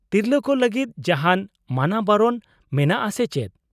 -ᱛᱤᱨᱞᱟᱹ ᱠᱚ ᱞᱟᱹᱜᱤᱫ ᱡᱟᱦᱟᱱ ᱢᱟᱱᱟᱵᱟᱨᱚᱢ ᱢᱮᱱᱟᱜᱼᱟ ᱥᱮ ᱪᱮᱫ ?